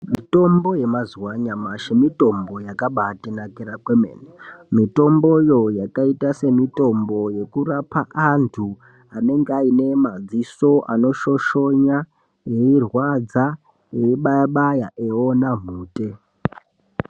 Mitombo yemazuwa anyamashi, mitombo yakabaatinakira kwemene. Mitomboyo yakaita semitombo yekurapa antu anenge aine madziso anoshoshonya eirwadza eibaya-baya eiona mhute.